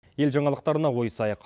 ел жаңалықтарына ойысайық